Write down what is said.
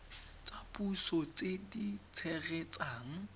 tsa puso tse di tshegetsang